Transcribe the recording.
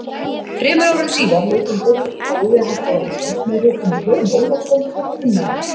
Þremur árum síðar lauk hann doktorsprófi við Háskóla Íslands með ritinu Jón Ólafsson frá Grunnavík.